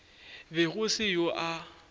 be go se yoo a